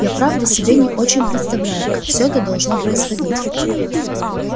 я правда себе не очень представляю как всё это должно происходить